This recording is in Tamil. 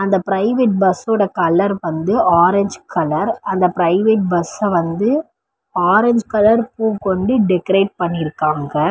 அந்த ப்ரைவேட் பஸ்ஸோட கலர் வந்து ஆரஞ்சு கலர் . அந்த பிரைவேட் பஸ்ஸ வந்து ஆரஞ்சு கலர் பூ கொண்டு டெக்கரேட் பண்ணியிருக்காங்க.